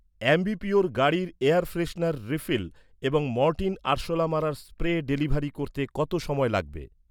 Ambi Pur গাড়ির air freshener refill এবং Mortein আরশোলা মারার স্প্রে ডেলিভারি করতে কত সময় লাগবে?